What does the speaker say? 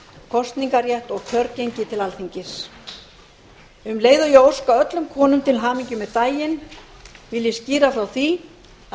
kosningarrétt og kjörgengi til alþingis um leið og ég óska öllum konum til hamingju með daginn vil ég skýra frá því að